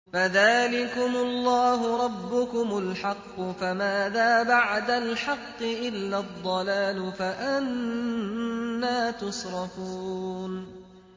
فَذَٰلِكُمُ اللَّهُ رَبُّكُمُ الْحَقُّ ۖ فَمَاذَا بَعْدَ الْحَقِّ إِلَّا الضَّلَالُ ۖ فَأَنَّىٰ تُصْرَفُونَ